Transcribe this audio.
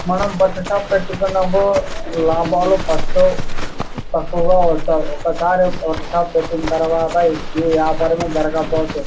మనం బట్టల షాప్ పెట్టుకున్నాము లాభాలు ఫస్ట్ తక్కువుగా వస్తాయి. ఒకసారి ఒక షాప్ పెట్టిన తరువాత ఈ వ్యాపారము జరగపోతే--